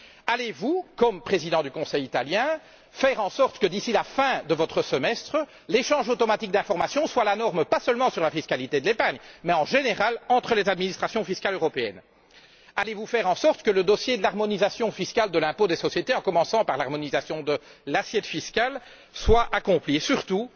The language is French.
Allez vous, en qualité de Président du Conseil italien, faire en sorte que d'ici la fin de votre semestre, l'échange automatique d'informations soit la norme, pas seulement dans le domaine de la fiscalité de l'épargne mais de manière générale, entre les administrations fiscales européennes? Allez vous faire en sorte que le dossier de l'harmonisation fiscale de l'impôt des sociétés, en commençant par l'harmonisation de l'assiette fiscale, soit bouclé? Je tiens surtout